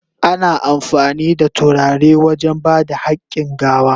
Ana amfani da turare wajen ba da hakin gawa.